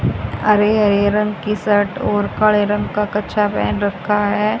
हरे हरे रंग की शर्ट और काले रंग का कच्छा पहन रखा है।